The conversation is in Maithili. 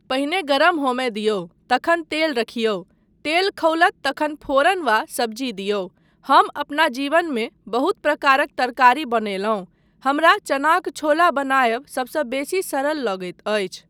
पहिने गरम होमय दिऔ तखन तेल राखियौ, तेल खौलत तखन फोरन वा सब्जी दिऔ, हम अपना जीवनमे बहुत प्रकारक तरकारी बनयलहुँ, हमरा चनाक छोला बनायब सबसँ बेसी सरल लगैत अछि।